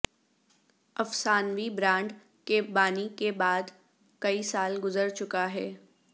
افسانوی برانڈ کے بانی کے بعد کئی سال گزر چکا ہے